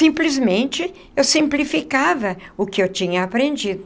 Simplesmente, eu simplificava o que eu tinha aprendido.